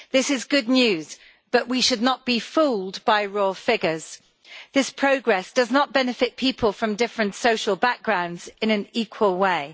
This is good news, but we should not be fooled by raw figures this progress does not benefit people from different social backgrounds in an equal way.